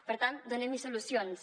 per tant donem hi solucions